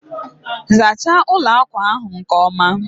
zachaa ụlọ akwa ahụ nke ọma!